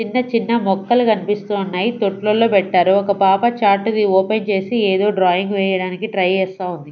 చిన్న చిన్న మొక్కలు కన్పిస్తూ ఉన్నాయి తొట్లలో పెట్టారు ఒక పాప చార్ట్ ది ఓపెన్ చేసి ఏదో డ్రాయింగ్ వేయడానికి ట్రై చేస్తా ఉంది.